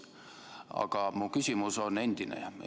Aga mu küsimus on endine.